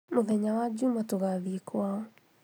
Mũthenya wa juma tũgathiĩ kwao